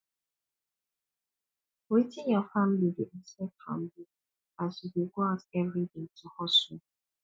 wetin your family dey expect from you as you dey go out everyday to hustle